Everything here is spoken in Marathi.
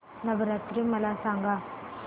नवरात्री मला सांगा